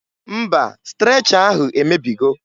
Mba! Strecha ahụ emebigo.